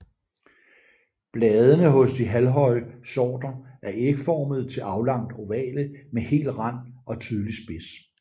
Bladene hos de halvhøje sorter er ægformede til aflangt ovale med hel rand og tydelig spids